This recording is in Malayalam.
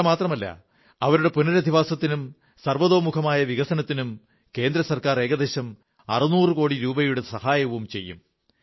ഇത്രമാത്രമല്ല അവരുടെ പുനരധിവാസത്തിനും സർവ്വാംഗീണമായ വികസനത്തിനും കേന്ദ്ര സർക്കാർ ഏകദേശം 600 കോടി രൂപയുടെ സഹായവും ചെയ്യും